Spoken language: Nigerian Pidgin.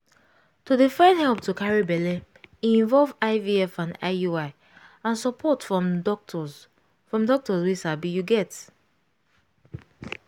to dey find help to carry belle e involve ivf and iui and support from doctors from doctors wey sabi you get